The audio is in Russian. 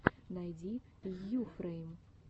найди йуфрэйм